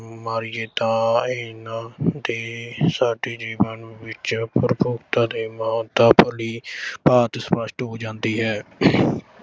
ਮਾਰੀਏ ਤਾਂ ਇਨ੍ਹਾਂ ਦੀ ਸਾਡੇ ਜੀਵਨ ਵਿੱਚ ਤੇ ਮਹਾਨਤਾ ਭਲੀ-ਭਾਂਤ ਸਪੱਸ਼ਟ ਹੋ ਜਾਂਦੀ ਹੈ।